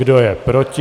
Kdo je proti?